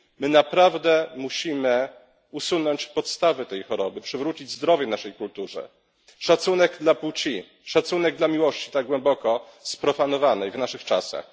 My naprawdę musimy usunąć podstawy tej choroby, przywrócić zdrowie naszej kulturze, szacunek dla płci, szacunek dla miłości, tak głęboko sprofanowanej w naszych czasach.